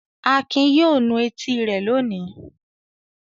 Akin yóò nu etí rẹ̀ lónìí.